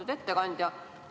Lugupeetud ettekandja!